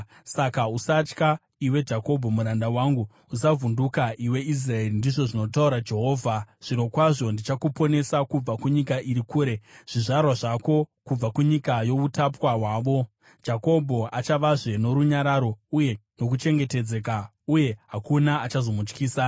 “ ‘Saka, usatya, iwe Jakobho muranda wangu; usavhunduka, iwe Israeri,’ ndizvo zvinotaura Jehovha. ‘Zvirokwazvo ndichakuponesa kubva kunyika iri kure, zvizvarwa zvako kubva kunyika youtapwa hwavo. Jakobho achavazve norunyararo uye nokuchengetedzeka, uye hakuna achazomutyisa.